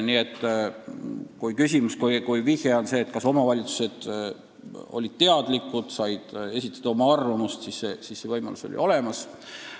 Nii et kui tahetakse teada, kas omavalitsused olid teadlikud ja said esitada oma arvamust, siis see võimalus oli olemas.